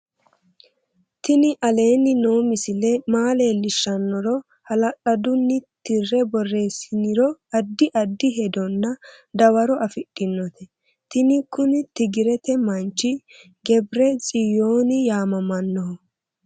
tini aleni noo misile maa leellishshannoro hala'lladunni tirre boreessiniro addi addi hedonna dawaro afidhinote tini kuni tigirete manchi gebire tsiyooni yaamamanno